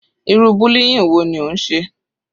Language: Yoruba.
Irú bullying wo ni ó ń ṣe?